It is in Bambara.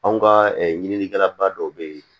Anw ka ɲininikɛla ba dɔw bɛ yen